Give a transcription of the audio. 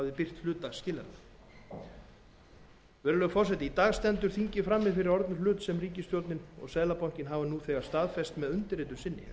v hafði birt hluta skilyrðanna í dag stendur þingið frammi fyrir orðnum hlut sem ríkisstjórnin og seðlabankinn hafa nú þegar staðfest með undirritun sinni